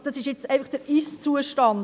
Das ist der Ist-Zustand.